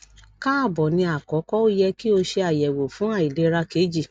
kaabo ni akọkọ o yẹ ki o ṣe ayẹwo fun ailera keji